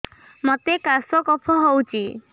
ମୋତେ କାଶ କଫ ହଉଚି